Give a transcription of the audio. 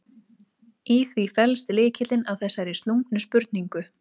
Í því felst lykillinn að þessari slungnu spurningu.